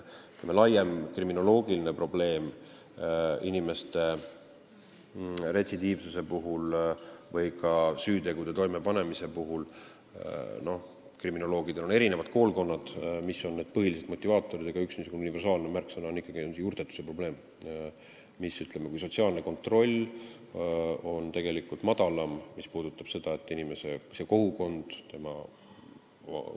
Kriminoloogidel on erinevad koolkonnad selles asjas, mis on need põhilised motivaatorid retsidiivsuse või süütegude toimepanemise puhul, aga üks universaalne märksõna on ühine – see on juurtetuse probleem.